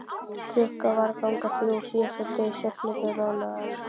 Klukkan var að ganga þrjú á síðasta degi septembermánaðar.